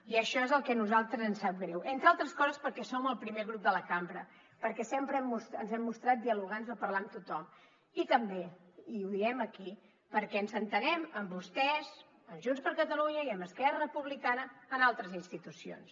i això és el que a nosaltres ens sap greu entre altres coses perquè som el primer grup de la cambra perquè sempre ens hem mostrat dialogants a parlar amb tothom i també i ho diem aquí perquè ens entenem amb vostès amb junts per catalunya i amb esquerra republicana en altres institucions